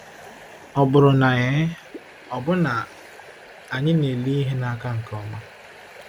Ọ bụrụ na ee, ọ̀ bụ na anyị na-ele ihe n’aka nke ọma?